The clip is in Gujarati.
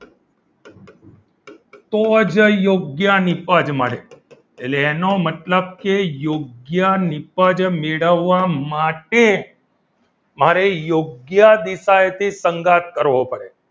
તો જ યોગ્ય નીપજ મળી એટલે એનો મતલબ કે યોગ્ય નીપજ મેળવવા માટે મારે યોગ્ય દિશા એથી સંગાથ કરવો પડે